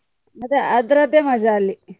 ಮತ್ತೆ ಅದ್ರದ್ದೆ ಮಜಾ ಅಲ್ಲಿ.